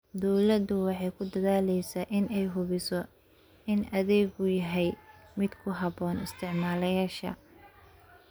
Dawladdu waxay ku dadaalaysaa in ay hubiso in adeeggu yahay mid ku habboon isticmaaleyaasha.